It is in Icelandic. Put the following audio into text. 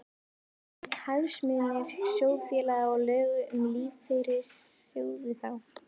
Hvar voru hagsmunir sjóðfélaga og lög um lífeyrissjóði þá?